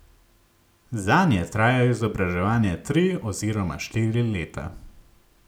Zanje traja izobraževanje tri oziroma širi leta.